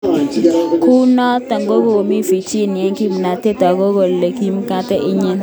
Kunotok kokimut Virginia eng kimnatet akot koit ole mikamet nyin.